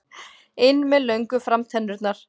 inn með löngu framtennurnar.